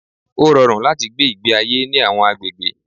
Ó rọrùn láti gbé ìgbé ayé ní àwọn agbègbè